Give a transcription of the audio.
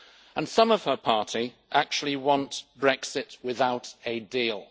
And some of her party actually want Brexit without a deal.